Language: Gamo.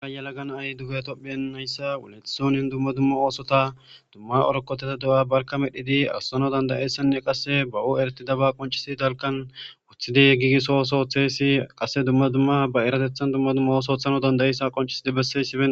Ha yalaga na'ay dugeha tophphiyan dumma dumma oosota dumma rokoteta barkka medhidi oosisanawu dandayiyayssa qase baw erettidaba qonccisidii dalggan woththidi gigisso ooso oththesi qase dumma dumma ba erateththan ooththo ooththidi qoncisishes